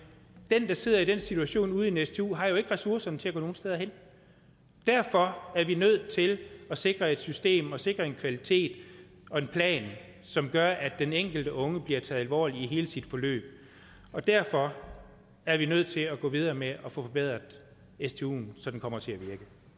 der sidder i den situation ude i en stu har jo ikke ressourcerne til at gå nogen steder hen derfor er vi nødt til at sikre et system og sikre en kvalitet og en plan som gør at den enkelte unge bliver taget alvorligt i hele sit forløb og derfor er vi nødt til at gå videre med at få forbedret stuen så den kommer til at virke